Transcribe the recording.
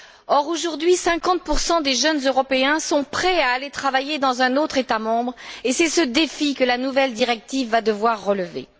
Or, aujourd'hui, 50 des jeunes européens sont prêts à aller travailler dans un autre État membre et c'est ce défi que la nouvelle directive va devoir relever.